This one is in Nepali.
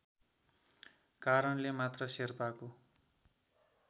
कारणले मात्र शेर्पाको